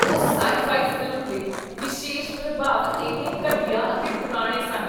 ਉਸ scifi film ਦੇ ਵਿਸ਼ੇਸ਼ ਪ੍ਰਭਾਵ ਇੰਨੇ ਘਟੀਆ ਅਤੇ ਪੁਰਾਣੇ ਸਨ